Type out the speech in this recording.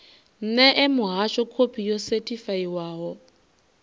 ṋee muhasho khophi yo sethifaiwaho